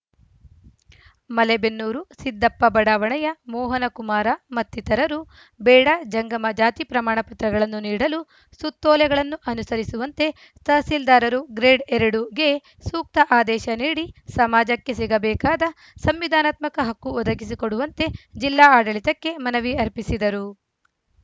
ಮಲೇಬೆನ್ನೂರು ಸಿದ್ದಪ್ಪ ಬಡಾವಣೆಯ ಮೋಹನಕುಮಾರ ಮತ್ತಿತರರು ಬೇಡ ಜಂಗಮ ಜಾತಿ ಪ್ರಮಾಣ ಪತ್ರಗಳನ್ನು ನೀಡಲು ಸುತ್ತೋಲೆಗಳನ್ನು ಅನುಸರಿಸುವಂತೆ ತಹಸೀಲ್ದಾರರು ಗ್ರೇಡ್‌ ಎರಡು ಗೆ ಸೂಕ್ತ ಆದೇಶ ನೀಡಿ ಸಮಾಜಕ್ಕೆ ಸಿಗಬೇಕಾದ ಸಂವಿಧಾನಾತ್ಮಕ ಹಕ್ಕು ಒದಗಿಸಿಕೊಡುವಂತೆ ಜಿಲ್ಲಾ ಆಡಳಿತಕ್ಕೆ ಮನವಿ ಅರ್ಪಿಸಿದರು